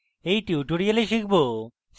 in tutorial আমরা শিখব: